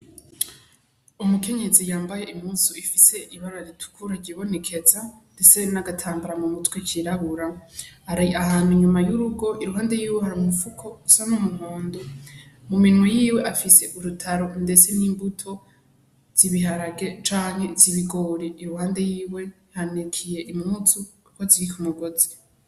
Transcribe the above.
Umukenyezi yambaye impuzu ifise ibara ritukura ryibonekeza ndetse n'agatambara mumutwe kirabura, ari ahantu inyuma y'urugo iruhande yiwe hari umufuko usa n'umuhondo mu minwe yiwe afise urutaro ndetse n'imbuto z'ibiharage canke iz'ibigori i iruhande yiwe hanikiye impuzu ziri kumugozi.